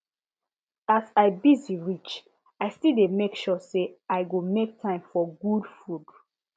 as i busy reach i still dey make sure say i go make time for good food